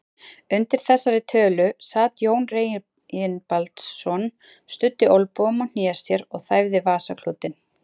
Undir þessari tölu sat Jón Reginbaldsson, studdi olnbogum á hné sér og þæfði vasaklútinn.